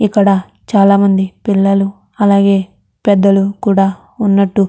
ఇక్కడ చాలామంది పిల్లలు అలాగే పెద్దలు కూడా ఉన్నట్టు --